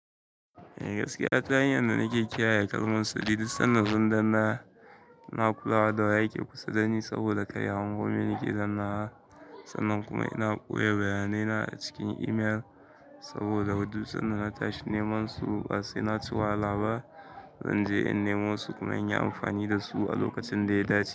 Eh gaskiya ta hanyar da nake kiyaye kalmon su, duk sannan zan danna na kulawa da wa yake kusa dani saboda kaiya hago me nake dannawa. Sannan kuma ina ɓoye bayanai na a cikin email saboda duk sannan na tashi namen su ba sai na ci wahala ba zan je in nemo su kuma in yi amfani da su a lokacin da ya dace.